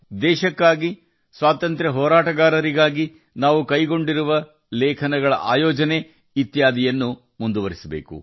ದೇಶಕ್ಕಾಗಿ ಸ್ವಾತಂತ್ರ್ಯ ಹೋರಾಟಗಾರರಿಗಾಗಿ ನಾವು ಆಯೋಜಿಸುತ್ತಿರುವ ಬರಹಗಳು ಮತ್ತು ಕಾರ್ಯಕ್ರಮಗಳನ್ನು ನಾವು ಮುಂದುವರಿಸಬೇಕಾಗಿದೆ